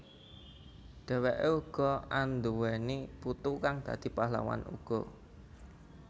Dheweke uga anduwèni putu kang dadi pahlawan uga